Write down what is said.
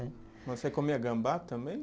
Mas você comia gambá também?